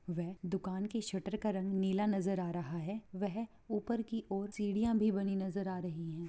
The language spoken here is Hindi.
वे दुकान की शटरका रंग नीला नजर आ रहा है वैह ऊपर की और सीढ़िया भी बनी नजर आ रही है।